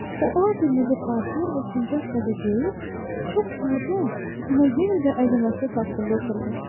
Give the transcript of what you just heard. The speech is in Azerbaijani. O alqırmızı paltar və sincap xəzə geyib, çox sadə, amma yenə də əzəmətli taxtında oturmuşdu.